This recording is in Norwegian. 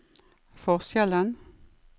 forskjellen